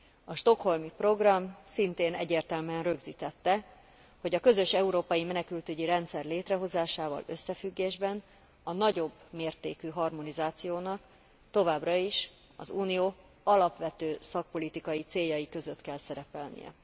A stockholmi program szintén egyértelműen rögzítette, hogy a közös európai menekültügyi rendszer létrehozásával összefüggésben a nagyobb mértékű harmonizációnak továbbra is az Unió alapvető szakpolitikai céljai között kell szerepelnie.